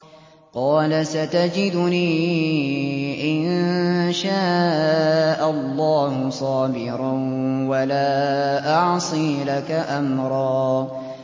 قَالَ سَتَجِدُنِي إِن شَاءَ اللَّهُ صَابِرًا وَلَا أَعْصِي لَكَ أَمْرًا